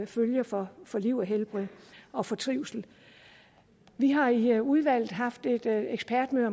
følger for for liv og helbred og for trivsel vi har i udvalget haft et ekspertmøde